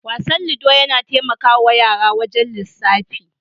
Wasan "ludo" yana taimakawa yara wajen lisafi.